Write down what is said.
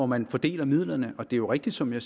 man fordeler midlerne det er jo rigtigt som jeg